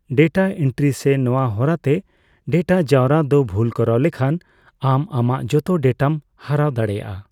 Data entry ᱥᱮ ᱱᱟᱣᱟ ᱦᱚᱨᱟᱛᱮ ᱰᱮᱴᱟ ᱡᱟᱣᱨᱟ ᱫᱚ ᱵᱷᱩᱞ ᱠᱚᱨᱟᱣ ᱞᱮᱱᱠᱷᱟᱱ, ᱟᱢ ᱟᱢᱟᱜ ᱡᱚᱛᱚ ᱰᱮᱴᱟᱢ ᱦᱟᱨᱟᱣ ᱫᱟᱲᱮᱭᱟᱜᱼᱟ ᱾